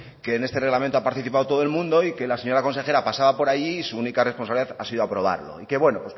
que en este reglamento ha participado todo el mundo y que la señora consejera pasaba por ahí y su única responsabilidad ha sido aprobarlo y bueno